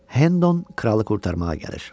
Hendon kralı qurtarmağa gəlir.